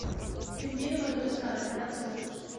пингвины мадагаскара операция отпуск